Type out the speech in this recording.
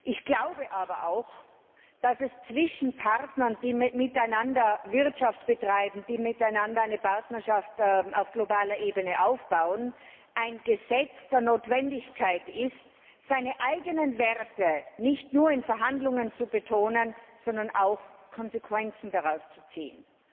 Ich glaube aber auch, dass es zwischen Partnern, die miteinander Wirtschaft treiben, die miteinander eine Partnerschaft auf globaler Ebene aufbauen, ein Gesetz der Notwendigkeit ist, seine eigenen Werte nicht nur in Verhandlungen zu betonen, sondern auch Konsequenzen daraus zu ziehen.